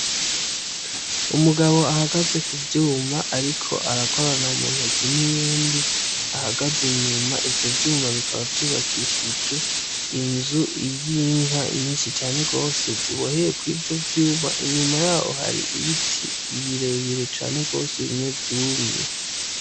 Umugabo ahagaze ku vyuma ariko arakorana mu ntoki nuyundi, ahagaze inyuma ivyo vyuma bikaba vyubakishije inzu y'inka nyinshi cane gose ziboheye kuri ivyo vyuma ,inyuma yaho hari ibiti birebire cane gose bimwe vyumye